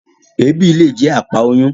Èébì le jẹ àpá oyun.